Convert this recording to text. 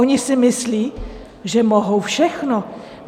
Oni si myslí, že mohou všechno.